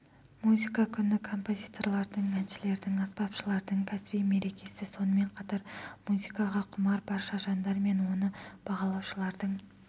музыка күні композиторлардың әншілердің аспапшылардың кәсіби мерекесі сонымен қатар музыкаға құмар барша жандар мен оны бағалаушылардың